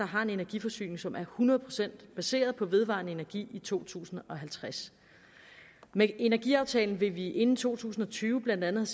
har en energiforsyning som er hundrede procent baseret på vedvarende energi i to tusind og halvtreds med energiaftalen vil vi inden to tusind og tyve blandt andet